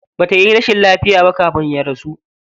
Ba tayi rashin lafiya ba kafin ya rasu.